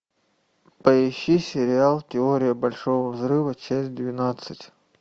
поищи сериал теория большого взрыва часть двенадцать